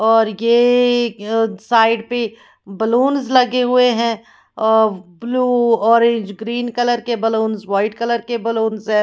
और ये य साइड पे बलूंस लगे हुए हैं अ ब्लू ऑरेंज ग्रीन कलर के बलूंस व्हाइट कलर के बैलून से --